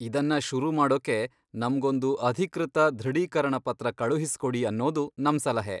ಇದನ್ನ ಶುರು ಮಾಡೋಕೆ ನಮ್ಗೊಂದು ಅಧಿಕೃತ ದೃಢೀಕರಣ ಪತ್ರ ಕಳುಹಿಸ್ಕೊಡಿ ಅನ್ನೋದು ನಮ್ ಸಲಹೆ.